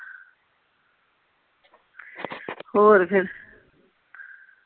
ਹੋਰ ਫੇਰ